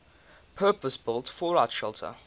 purpose built fallout shelter